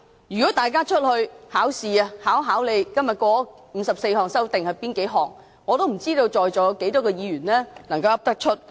如果大家在外面"考試"，被問到今天通過的54項擬議修訂的內容，我不知道在席有多少位議員能夠說出來。